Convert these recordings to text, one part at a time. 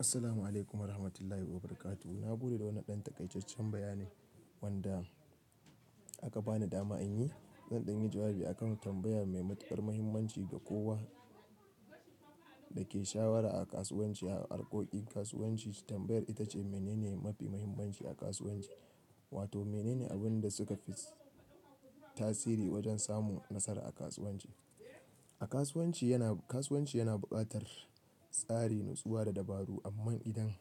Assalamu alaikum wa rahmatullahi wa barakatuh. Na gode da wani ɗan takaici tacce bayanai wanda aka bani dama in yi. Zan ɗingi jawabi a kan tambayar mai matuƙar mahimmanci ga kowa da ke shawara a kasuwanci, a harkokin kasuwanci tambayar ita ce mene ne mafi mahimmanci a kasuwanci? Wato mene ne abin da suka fi tasiri wajen samun nasara a kasuwanci? A kasuwanci yana, kasuwanci yana buƙatar tsari, nutsuwa da dabaru amma idan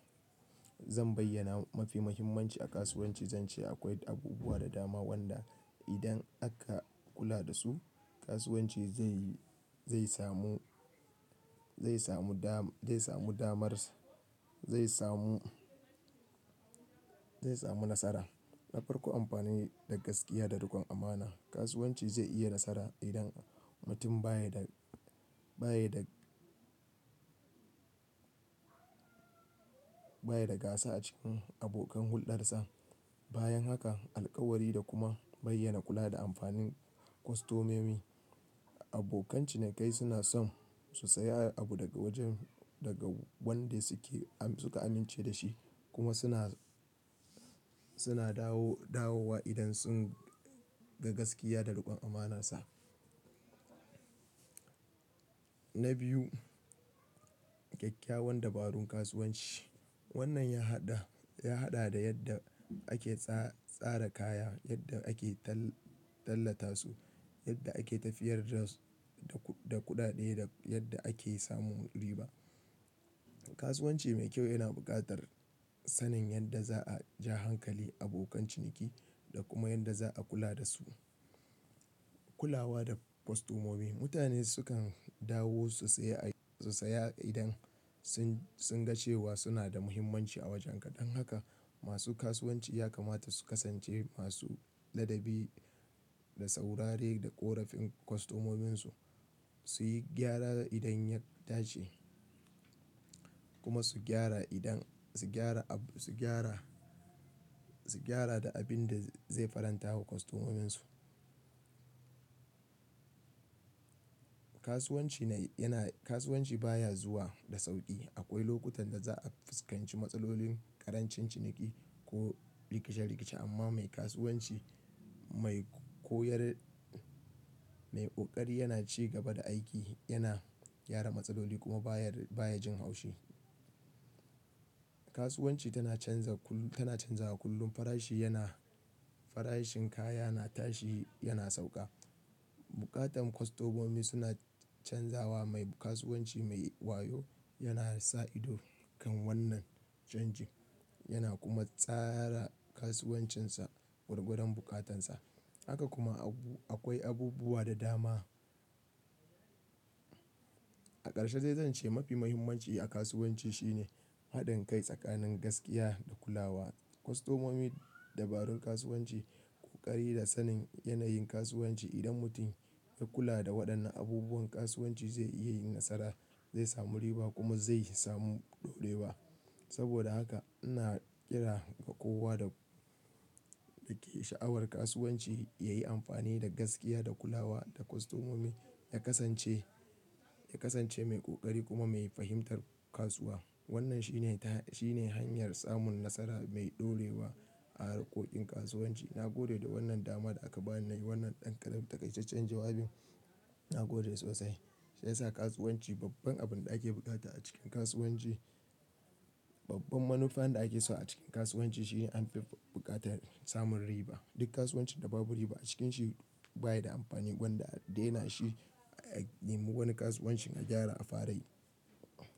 zan bayyana mafi mahimmanci a kasuwanci zan ce akwai abubuwa da dama wanda idan aka kula da su kasuwanci zai, zai samu, zai samu dama, zai samu damarsa, zai samu, zai samu nasara. Na farko amfani da gaskiya da riƙon amana. Kasuwanci zai iya nasara idan mutum ba ya da, ba ya da, ba ya da gasa a cikin abokan huldarsa. Bayan haka, alkawari da kuma bayyana kula da amfanin kwastomomi. Abokan cinikai suna son su saya abu daga wajen, daga wanda suke am, suka amince da shi kuma suna, suna dawo, dawowa idan sun ga gaskiya da riƙon amana sa. Na biyu, ƙyakkyawan dabarun kasuwanci. Wannan ya haɗa, ya haɗa da yadda ake tsa, tsara kaya, yadda ake tall, tallata su, yadda ake tafiyar da su da kuɗaɗe da yadda ake samun riba. Kasuwanci mai kyau yana buƙatar sanin yadda za a ja hankalin abokan ciniki da kuma yadda za a kula da su. Kulawa da kwastomomi. Mutane sukan dawo su saya, su saya idan sun, sun ga cewa suna da mahimmanci a wajen. Ɗan haka masu kasuwanci ya kamata su kasance masu ladabi da saurare da ƙorafin kwastomominsu, su yi gyara idan ya dace kuma su gyara idan, su gyara abu, su gyara, su gyara da abin da zai faranta wa kwastomominsu. Kasuwanci yana, kasuwanci baya zuwa da sauƙi. Akwai lokutan da za a fuskanci matsalolin ƙarancin ciniki ko rikice-rikice amma mai kasuwanci mai koyar, mai ƙoƙari yana ci gaba da aiki, yana gyara matsaloli kuma baya, baya jin haushi. Kasuwanci tana canza kullum, tana canzawa kullum. Farashi yana, farashin kaya na tashi yana sauƙa. Buƙatan kwastomomi suna canzawa. Mai kasuwanci mai wayo yana sa ido kan wannan canji yana kuma tsara kasuwancinsa gwargwadon buƙatansa. Haka kuma abu, akwai abubuwa da dama. A ƙarshe zai zan ce mafi mahimmanci a kasuwanci shine haɗin kai tsakanin gaskiya da kulawa. Kwastomomi, dabarun kasuwanci, ƙoƙari da sanin yanayin kasuwanci. Idan mutum ya kula da waɗannan abubuwan kasuwanci zai iya yin nasara, zai samu riba kuma zai samu ɗorewa. Saboda haka ina ƙira ga kowa da, da ke sha'awar kasuwanci ya yi amfani da gaskiya da kulawa da kwastomomi, ya kasance, ya kasance mai ƙoƙari kuma mai fahimtar kasuwa. Wannan shi ne ta, shi ne hanyar samun nasara mai ɗorewa a harkokin kasuwanci. Na gode da wannan dama da aka bani yi wannan ɗan ƙadsan takaici taccen jawabin. Na gode sosai. Sai sa kasuwanci babban abin da ake buƙata a cikin kasuwanci, babban manufa da ake so a cikin kasuwanci shi anfi buƙatar samun riba. Duk kasuwancin da babu riba a cikin shi baya da amfani gwanda yana shi a yi wani kasuwanci na gyara a fara yi.